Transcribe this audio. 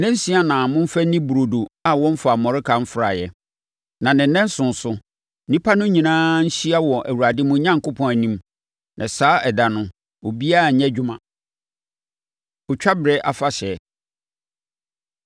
Nnansia na momfa nni burodo a wɔmfaa mmɔreka mfraeɛ. Na ne nnanson so, nnipa no nyinaa nhyia wɔ Awurade, mo Onyankopɔn, anim. Na saa ɛda no, obiara nnyɛ adwuma. Ɔtwa Berɛ Afahyɛ